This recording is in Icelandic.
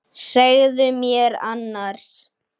Segðu mér annars.